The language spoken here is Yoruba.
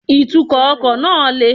Ìtúkò ọkò náà le